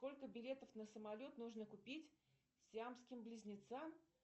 сколько билетов на самолет нужно купить сиамским близнецам